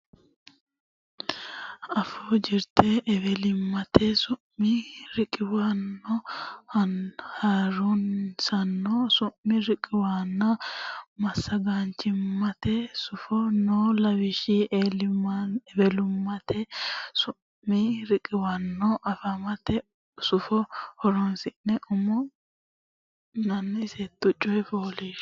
Afuu Jirte Ewelimmate Su mi riqiwaano Ha nurisaano Sumi riqiwaanonna Massagaanchimmate Sufo noo lawishshi ewelimmate su mi riqiwaano ha nurisaano su mi ledannonna afamate sufo horonsidhine umi neta sette coy fooliishsho.